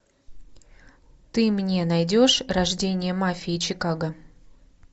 ты мне найдешь рождение мафии чикаго